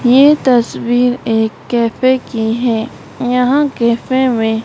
ये तस्वीर एक कैफे की है यहां कैफे में--